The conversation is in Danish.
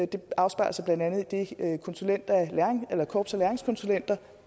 det afspejler sig blandt andet i det korps af læringskonsulenter